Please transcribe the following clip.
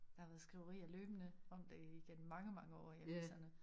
Der har været skriverier løbende om det i gennem mange år i aviserne